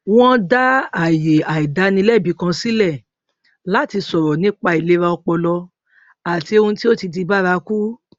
wọn dá àyè àìdánilẹbi kan sílẹ láti sọrọ nípa ìlera ọpọlọ àti ohun tí ó ti di bárakú